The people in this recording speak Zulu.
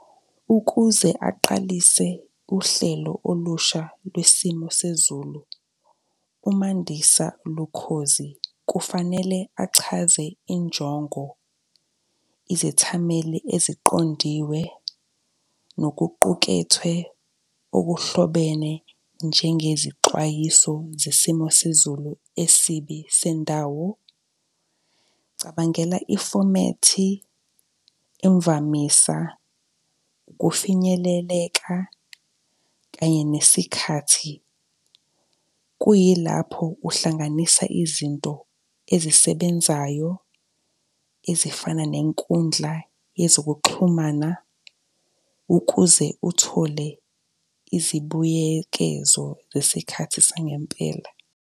Ukuze aqalise uhlelo olusha lwesimo sezulu, uMandisa Lukhozi kufanele achaze injongo, izethameli eziqondiwe, nokuqukethwe okuhlobene, njengezixwayiso zesimo sezulu esibi sendawo. Cabangela ifomethi, imvamisa kufinyeleleka kanye nesikhathi, kuyilapho uhlanganisa izinto ezisebenzayo ezifana nenkundla yezokuxhumana ukuze uthole izibuyekezo zesikhathi sangempela.